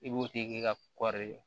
I b'o tigi ka kɔri